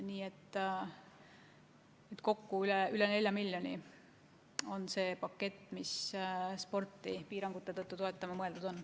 Nii et kokku üle 4 miljoni euro on see pakett, mis sporti piirangute tõttu toetama on mõeldud.